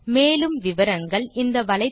மேற்கொண்டு விவரங்கள் வலைத்தளத்தில் கிடைக்கும்